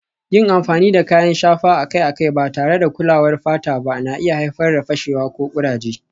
Yin amfani da kayan shafa akai-akai ba tare da kulawar fata ba na iya haifar da fashewa ko kuraje